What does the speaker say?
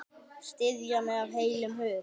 Styðja mig af heilum hug?